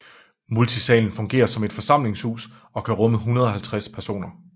Multisalen fungerer som forsamlingshus og kan rumme 150 personer